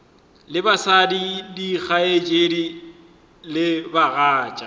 le batswadi dikgaetšedi le bagatša